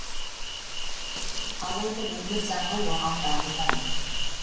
алайда өмір заңы оған бағынбады